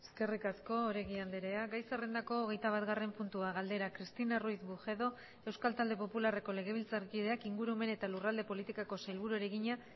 eskerrik asko oregi andrea gai zerrendako hogeitabatgarren puntua galdera cristina ruiz bujedo euskal talde popularreko legebiltzarkideak ingurumen eta lurralde politikako sailburuari egina